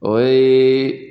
O ye